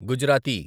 Gujarati